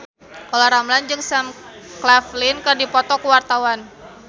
Olla Ramlan jeung Sam Claflin keur dipoto ku wartawan